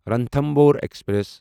Ranthambore express